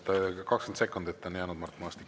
20 sekundit on jäänud, Mart Maastik.